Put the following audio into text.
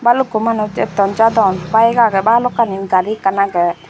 balukku manuj atton jadon bike aage balokani gari ekkan aage.